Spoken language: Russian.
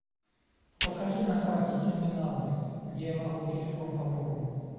покажи на карте терминалы где я могу телефон пополнить